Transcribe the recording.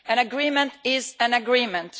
An agreement is an agreement.